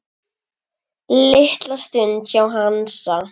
Litla stund hjá Hansa